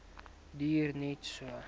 duur net so